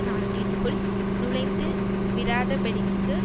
நாட்டிற்குள் நுழைந்து விடாதபடிக்கு